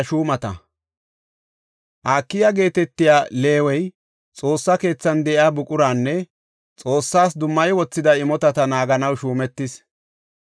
Akiya geetetiya Leewey Xoossa keethan de7iya buquranne Xoossas dummayi wothida imotata naaganaw shuumetis.